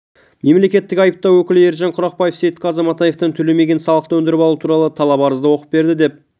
мемлекеттік айыптау өкілі ержан құрақбаев сейітқазы матаевтан төлемеген салықты өндіріп алу туралы талап-арызды оқып берді деп